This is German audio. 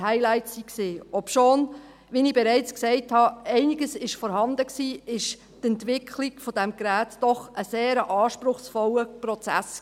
Obwohl einiges vorhanden war – wie ich bereits gesagt habe –, war die Entwicklung dieses Geräts doch ein sehr anspruchsvoller Prozess.